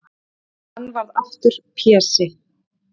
Og hann varð aftur Pési.